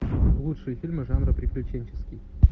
лучшие фильмы жанра приключенческий